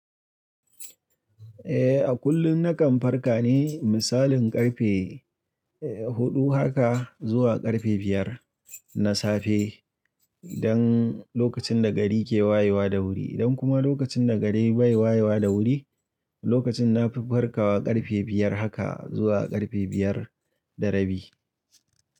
Eh, a kullum na kan farka ne, misalin ƙarfe, eh, huɗu haka zuwa ƙarfe biyar na safe idan lokacin da gari ke wayewa da wuri. Idan kuma lokacin da gari bai wayewa da wuri, lokacin na fi farkawa ƙarfe biyar haka zuwa ƙarfe biyar da rabi.